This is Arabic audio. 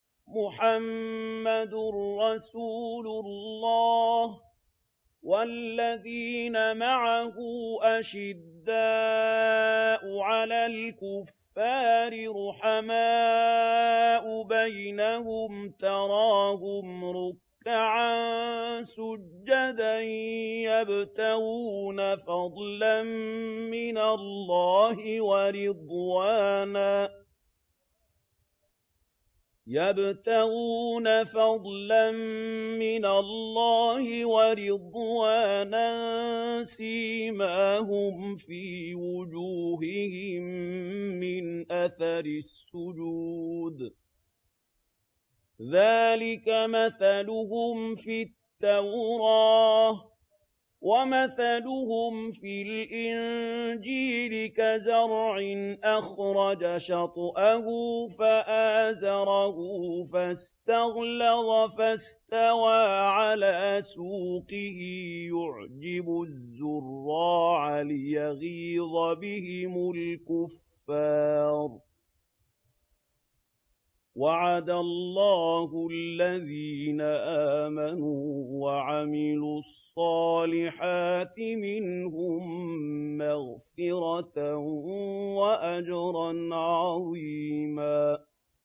مُّحَمَّدٌ رَّسُولُ اللَّهِ ۚ وَالَّذِينَ مَعَهُ أَشِدَّاءُ عَلَى الْكُفَّارِ رُحَمَاءُ بَيْنَهُمْ ۖ تَرَاهُمْ رُكَّعًا سُجَّدًا يَبْتَغُونَ فَضْلًا مِّنَ اللَّهِ وَرِضْوَانًا ۖ سِيمَاهُمْ فِي وُجُوهِهِم مِّنْ أَثَرِ السُّجُودِ ۚ ذَٰلِكَ مَثَلُهُمْ فِي التَّوْرَاةِ ۚ وَمَثَلُهُمْ فِي الْإِنجِيلِ كَزَرْعٍ أَخْرَجَ شَطْأَهُ فَآزَرَهُ فَاسْتَغْلَظَ فَاسْتَوَىٰ عَلَىٰ سُوقِهِ يُعْجِبُ الزُّرَّاعَ لِيَغِيظَ بِهِمُ الْكُفَّارَ ۗ وَعَدَ اللَّهُ الَّذِينَ آمَنُوا وَعَمِلُوا الصَّالِحَاتِ مِنْهُم مَّغْفِرَةً وَأَجْرًا عَظِيمًا